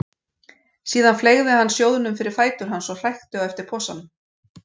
Síðan fleygði hann sjóðnum fyrir fætur hans og hrækti á eftir posanum.